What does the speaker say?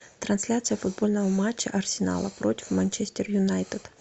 трансляция футбольного матча арсенала против манчестер юнайтед